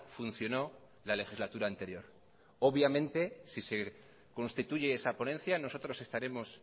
funcionó la legislatura anterior obviamente si se constituye esa ponencia nosotros estaremos